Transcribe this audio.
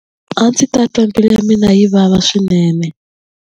A ndzi ta twa mbilu ya mina yi vava swinene.